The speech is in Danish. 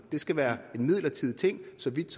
det skal være en midlertidig ting så vidt